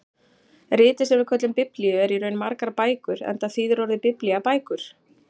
Ritið sem við köllum Biblíu er í raun margar bækur enda þýðir orðið biblía bækur.